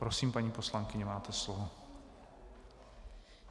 Prosím, paní poslankyně, máte slovo.